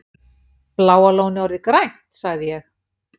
Bláa lónið orðið grænt? sagði ég.